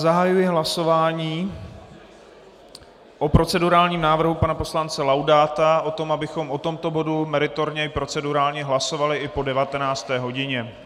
Zahajuji hlasování o procedurálním návrhu pana poslance Laudáta o tom, abychom o tomto bodu meritorně i procedurálně hlasovali i po 19. hodině.